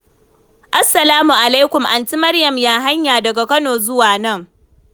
Salamu alaikum, Aunty Maryam! Ya hanya daga Kano zuwa nan?